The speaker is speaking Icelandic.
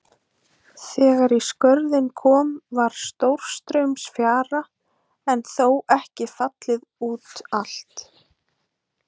Þegar í Skörðin kom var stórstraumsfjara en þó ekki fallið út allt.